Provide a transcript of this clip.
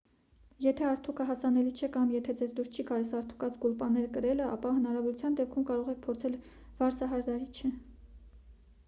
եթե արդուկը հասանելի չէ կամ եթե ձեզ դուր չի գալիս արդուկած գուլպաներ կրելը ապա հնարավորության դեպքում կարող եք փորձել վարսահարդարիչ